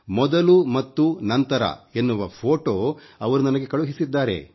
ಮೊದಲು ಮತ್ತು ನಂತರ ಎನ್ನುವ ಫೊಟೋ ಅವರು ನನಗೆ ಕಳುಹಿಸಿದ್ದಾರೆ